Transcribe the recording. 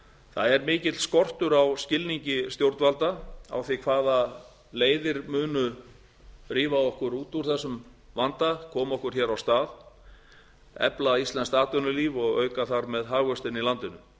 það er mikill skortur á skilningi stjórnvalda á því hvaða leiðir munu rífa okkur út úr þessum vanda koma okkur hér af stað efla íslenskt atvinnulíf og auka þar með hagvöxtinn í landinu